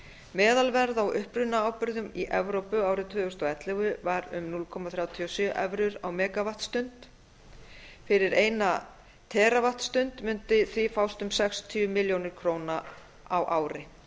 meðalverð á upprunaábyrgðum í evrópu árið tvö þúsund og ellefu var um núll komma þrjátíu og sjö evrur á megavattstund fyrir eina teravattstund mundi því fást um sextíu milljónir króna á ári